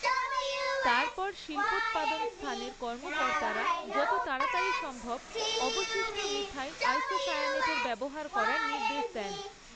তারপর শিল্পোৎপাদন স্থানের কর্মকর্তারা যত তাড়াতাড়ি সম্ভব অবশিষ্ট মিথাইল আইসোসায়ানেট ব্যবহার করার নির্দেশ দেন।